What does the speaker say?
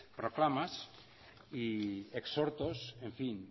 proclamas y exhortos en fin